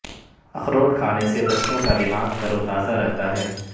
اخروٹ کھانے سے بچوں کا دماغ تر و تازہ رہتا ہے